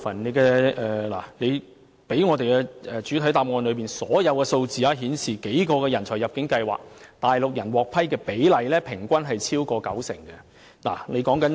根據局長在主體答覆提供的數字，在數個人才入境計劃下，內地居民獲批的比例平均超過九成。